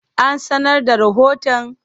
An sanar da rahoton?